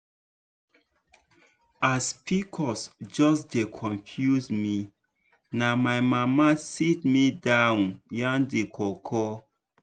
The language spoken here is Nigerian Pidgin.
as pcos just dey confuse me na my mama sit me down yarn the koko.